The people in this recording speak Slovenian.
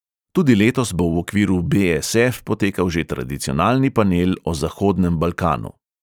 Tudi letos bo v okviru be|es|ef potekal že tradicionalni panel o zahodnem balkanu.